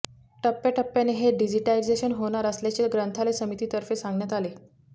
टप्प्याटप्प्याने हे डिजिटायझेशन होणार असल्याचे ग्रंथालय समितीतर्फे सांगण्यात आले